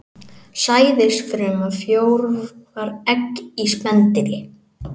Sæðisfruma frjóvgar egg í spendýri.